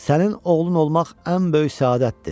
sənin oğlun olmaq ən böyük səadətdir.